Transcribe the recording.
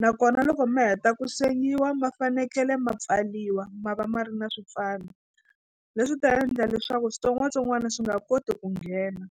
nakona loko ma heta ku sengiwa ma fanekele ma pfaliwa ma va ma ri na swipfalo leswi ta endla leswaku switsongwatsongwana swi nga koti ku nghena.